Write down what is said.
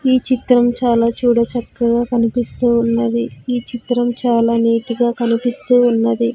ఈ చిత్రం చాలా చూడ చక్కగా కనిపిస్తూ ఉన్నది ఈ చిత్రం చాలా నీట్ గా కనిపిస్తూ ఉన్నది.